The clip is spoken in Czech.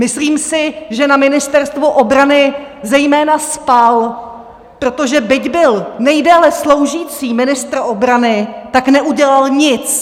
Myslím si, že na Ministerstvu obrany zejména spal, protože byť byl nejdéle sloužící ministr obrany, tak neudělal nic!.